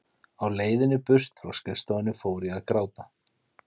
Á leiðinni burt frá skrifstofunni fór ég að gráta.